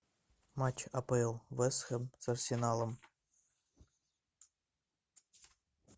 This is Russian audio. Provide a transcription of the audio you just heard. матч апл вест хэм с арсеналом